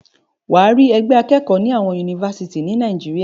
Wàá rí ẹgbẹ́ akẹ́kọ̀ọ́ ni àwọn Yunifásítì ni Nàìjíríà.